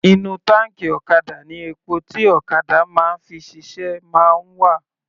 Inú táǹkì ọ̀kadà ni epo tí ọ̀kadà máa ń fi ṣiṣẹ́ máa ń wà.